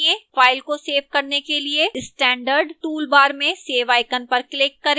file को save करने के लिए standard toolbar में save icon पर click करें